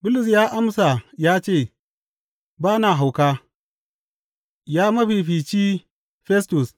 Bulus ya amsa ya ce, Ba na hauka, ya mafifici Festus.